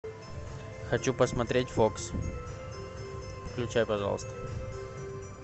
хочу посмотреть фокс включай пожалуйста